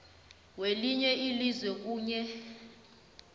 welinye ilizwe kunye